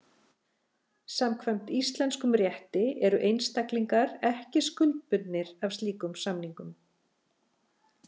Samkvæmt íslenskum rétti eru einstaklingar ekki skuldbundnir af slíkum samningum.